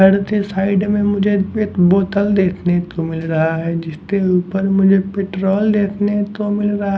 Side में मुझे एक बोतल देखने को मिल रहा है जिसके ऊपर मुझे पेट्रोल देखने को मिल रहा है।